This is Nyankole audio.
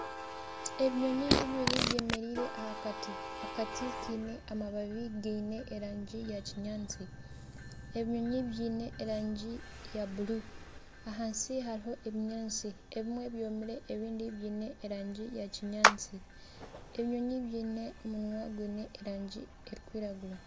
Ebinyonyi bibiri byemereire aha kati. Akati kiine amababi gaine erangi ya kinyaatsi. Ebinyonyi biine erangi ya bururu. Ahansi hariho ebinyaatsi. Ebimwe byomire ebindi biine erangi ya kinyaatsi. Ebinyonyi biine omunwa gwiine erangi erikwiragura.